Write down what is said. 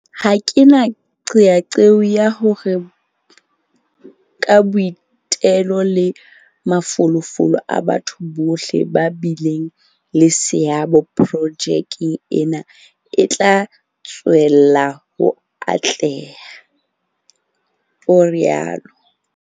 "Ha ke na qeaqeo ya hore ka boitelo le mafolofolo a batho bohle ba bileng le seabo, projeke ena e tla tswella ho atleha," o rialo.